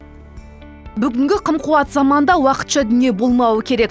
бүгінгі қым қуат заманда уақытша дүние болмауы керек